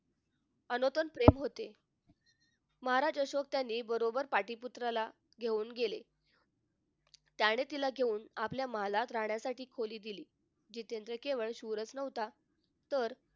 अनोतन प्रेम होते महाराज अशोक त्याने बरोबर पाटली पुत्राला घेऊन गेले त्याने तिला घेऊन आपल्या महालात राहण्यासाठी खोली दिली जितेंद्र केवळ शूरच नव्हता तर